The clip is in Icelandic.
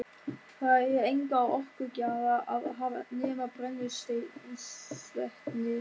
Þar er enga orkugjafa að hafa nema brennisteinsvetnið.